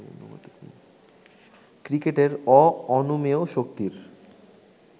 ক্রিকেটের অঅনুমেয় শক্তির